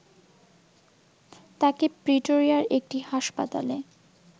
তাঁকে প্রিটোরিয়ার একটি হাসপাতালে